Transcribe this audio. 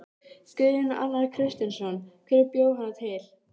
Guðjón Arnar Kristjánsson: Hver bjó hana til?